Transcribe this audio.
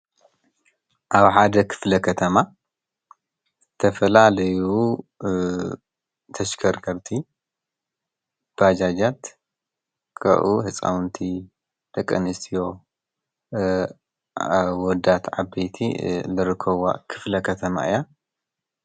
አብ ሓደ ክፍለ ከተማ ዝተፈላለዩ ተሽከርከርቲ ባጃጃት ካብኡ ህፃዉንቲ፣ ደቂኣንስትዮ፣ አወዳት፣ ዓበይቲ ዝርከብዋ ክፍለ ከተማ እያ ።